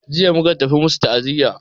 Jiya muka tafi masu ta'aziya.